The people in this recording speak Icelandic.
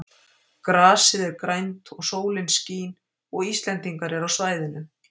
Grasið er grænt og sólin skín og Íslendingar eru á svæðinu.